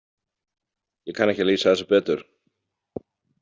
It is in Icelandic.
Ég kann ekki að lýsa þessu betur.